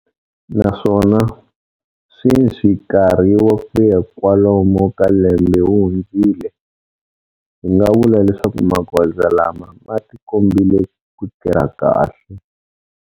Naswona, sweswi nkarhi wa ku ya kwalomu ka lembe wu hundzile, hi nga vula leswaku magoza lama ma tikombile ku tirha kahle.